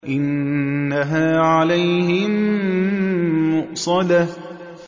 إِنَّهَا عَلَيْهِم مُّؤْصَدَةٌ